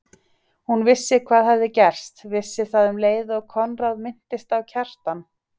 Hún vissi hvað hafði gerst, vissi það um leið og Konráð minntist á Kjartan.